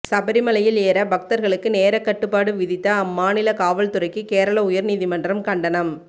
சபரிமலையில் ஏற பக்தர்களுக்கு நேரக்கட்டுப்பாடு விதித்த அம்மாநில காவல் துறைக்கு கேரள உயர்நீதிமன்றம் கண்டனம்